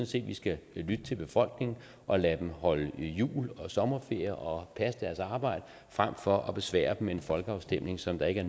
set at vi skal lytte til befolkningen og lade dem holde jul og sommerferie og passe deres arbejde frem for at besvære dem med en folkeafstemning som der ikke